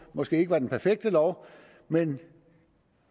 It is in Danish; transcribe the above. måske ikke var den perfekte lov men